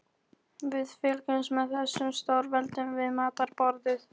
Við fylgjumst með þessum stórveldum við matarborðið.